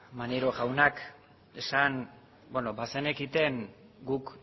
maneiro jaunak bazenekiten guk